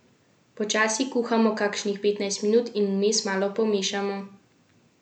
Počasi kuhamo kakšnih petnajst minut in vmes malo pomešamo.